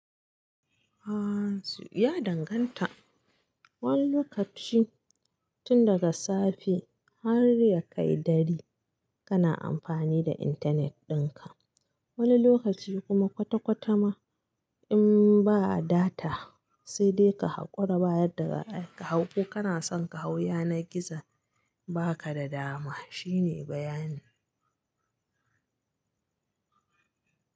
Aaa su ya danganta, wani lokaci tun daga safe har ya kai dare kana amfani da internet dinka, wani lokaci kuma kwata kwata ma in ba'a data sai dai ka hakora baya daga kai, ka hau ko kana son ka hau yana gizo baka da dama shine bayanin.